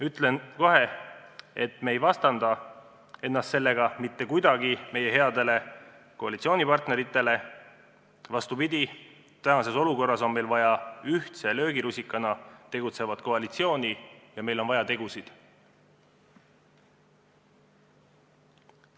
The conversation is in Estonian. Ütlen kohe, et me ei vastandada ennast sellega mitte kuidagi meie headele koalitsioonipartneritele, vastupidi, tänases olukorras on meil vaja ühtse löögirusikana tegutsevat koalitsiooni ja meil on vaja tegusid.